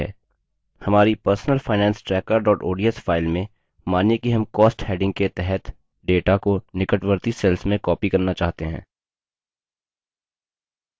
हमारी personalfinancetracker ods file में मानिए कि हम cost heading के तहत data को निकटवर्ती cells में copy करना चाहते हैं